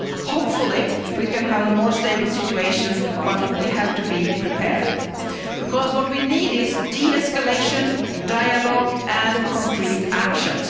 million. Hopefully we can achieve a more stable situation, but we have to be prepared, because what we need is de escalation, dialogue and concrete